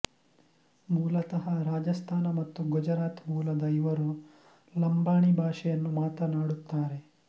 ಮೂಲತಃ ರಾಜಸ್ಥಾನ ಮತ್ತು ಗುಜರಾತ್ ಮೂಲದ ಇವರು ಲಂಬಾಣಿ ಭಾಷೆಯನ್ನು ಮಾತನಾಡುತ್ತಾರೆ